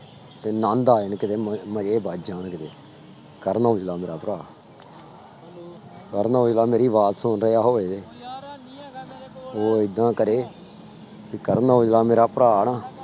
ਤੇ ਆਨੰਦ ਆ ਜਾਣ ਕਿਤੇ ਮ ਮਜ਼ੇ ਬੱਝ ਜਾਣ ਕਿਤੇ, ਕਰਨ ਔਜਲਾ ਮੇਰਾ ਭਰਾ ਕਰਨ ਔਜਲਾ ਮੇਰੀ ਆਵਾਜ਼ ਸੁਣ ਰਿਹਾ ਹੋਵੇ ਉਹ ਏਦਾਂ ਕਰੇ ਕਿ ਕਰਨ ਔਜਲਾ ਮੇਰਾ ਭਰਾ ਨਾ